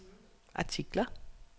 artikler